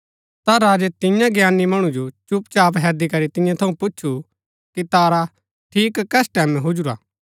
ता राजै तियां ज्ञानी मणु जो चुपचाप हैदी करी तियां थऊँ पुछु कि तारा ठीक कस टैमैं हुजुरा